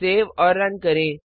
save और run करें